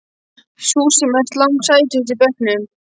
Þú sem ert lang sætust í bekknum.